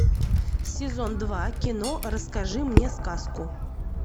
сезон два кино расскажи мне сказку